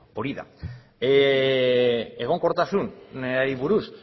hori da egonkortasunari buruz